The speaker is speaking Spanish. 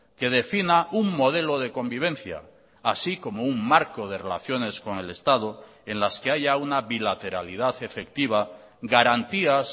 que defina un modelo de convivencia así como un marco de relaciones con el estado en las que haya una bilateralidad efectiva garantías